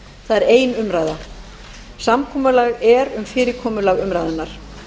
það er ein umræða samkomulag er um fyrirkomulag umræðunnar